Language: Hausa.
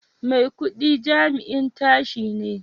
Maikudi jami'in tashi ne